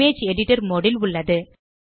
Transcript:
image editor mode ல் உள்ளது